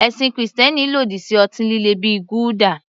Ẹ̀sìn Kristẹni lòdì sí ọtí líle bíi gulder.